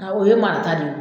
A o ye marata de ye o